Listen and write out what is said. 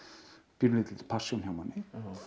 pínulítilli passjón hjá manni